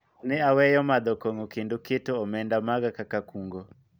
ne aweyo madho kong'o kendo keto omenda maga kaka kungo